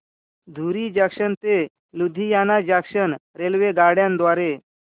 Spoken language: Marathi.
धुरी जंक्शन ते लुधियाना जंक्शन रेल्वेगाड्यां द्वारे